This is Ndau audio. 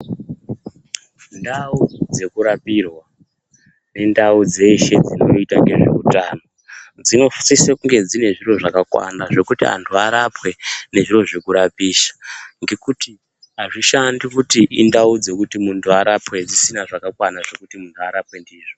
Mundau dzekurapirwa nendau dzeshe dzinoita ngezveutano dzinosise kunge dzine zviro zvakakwana zvekuti anthu arapwe ngezviro zvekurapisa ngekuti azvishandi kuti indau dzekuti munthu arapwe dzisina zvakakwana zvekuti munthu arapwe ndizvo.